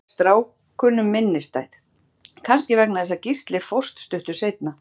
Þetta varð stráknum minnisstætt, kannski vegna þess að Gísli fórst stuttu seinna.